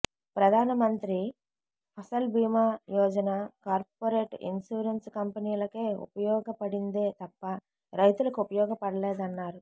ప్రధానమంత్రి Fasal Bima Yojana corporate insurance కంపెనీలకే ఉపయోగపడిందే తప్ప రైతులకు ఉపయోగపడలేదన్నారు